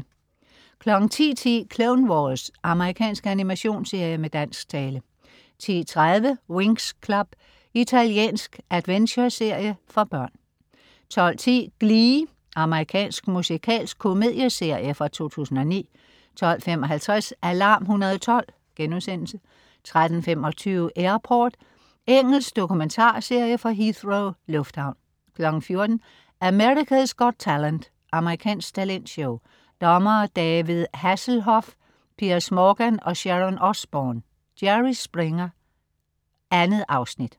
10.10 Clone Wars. Amerikansk animationsserie med dansk tale 10.30 Winx Club. Italiensk adventureserie for børn 12.10 Glee. Amerikansk musikalsk komedieserie fra 2009 12.55 Alarm 112* 13.25 Airport. Engelsk dokumentarserie fra Heathrow lufthavn 14.00 America's Got Talent. Amerikansk talentshow. Dommere: David Hasselhoff, Piers Morgan og Sharon Osbourne. Jerry Springer. 2 afsnit